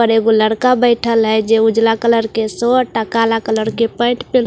और एक ऊ लड़का बैठल है जो ऊजला कलर का शोर्ट और काला कलर की पेंट पह--